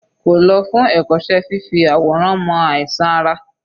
Kò lọ fún ẹ̀kọ́ṣẹ́ fífi àwòrán mọ àìsàn ara?